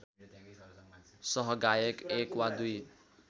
सहगायक एक वा दुई